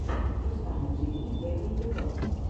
руслана джии первый эпизод